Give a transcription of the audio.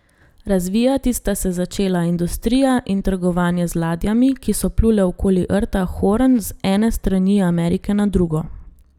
Razvijati sta se začela industrija in trgovanje z ladjami, ki so plule okoli Rta Horn z ene strani Amerike na drugo.